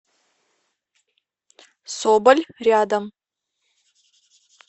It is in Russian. соболь рядом